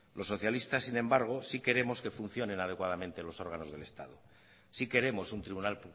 los socialistas sin embargo sí queremos que funcionen adecuadamente los órganos del estado sí queremos un tribunal